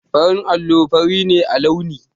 Farin allo fari ne a launi.